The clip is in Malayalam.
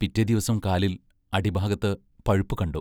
പിറ്റേദിവസം കാലിൽ, അടിഭാഗത്ത്, പഴുപ്പു കണ്ടു.